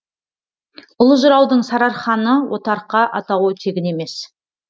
ұлы жыраудың сарыарқаны отарқа атауы тегін емес